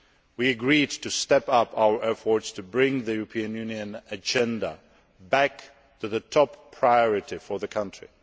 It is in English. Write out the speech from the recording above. We agreed to step up our efforts to bring the EU agenda back to top priority for the country.